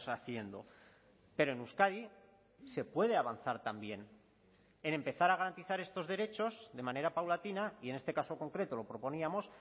haciendo pero en euskadi se puede avanzar también en empezar a garantizar estos derechos de manera paulatina y en este caso concreto lo proponíamos